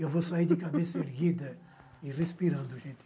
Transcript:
Eu vou sair de cabeça erguida e respirando, gente.